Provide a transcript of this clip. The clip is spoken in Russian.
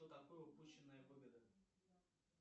что такое упущенная выгода